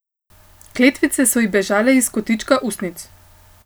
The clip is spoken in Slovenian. Kletvice so ji bežale iz kotička ustnic.